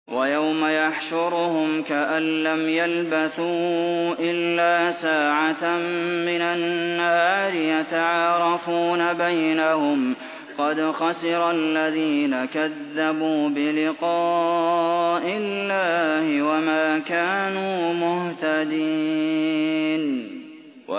وَيَوْمَ يَحْشُرُهُمْ كَأَن لَّمْ يَلْبَثُوا إِلَّا سَاعَةً مِّنَ النَّهَارِ يَتَعَارَفُونَ بَيْنَهُمْ ۚ قَدْ خَسِرَ الَّذِينَ كَذَّبُوا بِلِقَاءِ اللَّهِ وَمَا كَانُوا مُهْتَدِينَ